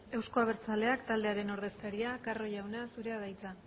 euzko abertzaleak taldearen ordezkaria carro jauna zurea da hitza